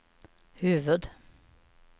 huvud-